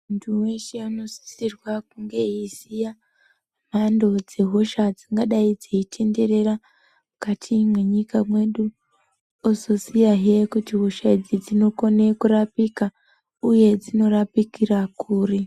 Vantu veshe vanosisirwa kunge eiziya mhando dzehosha dzingadai dzeitenderera mukati mwenyika mwedu, ozoziyahe kuti hosha idzi dzinokone kurapika, uye dzinorapikira kuri.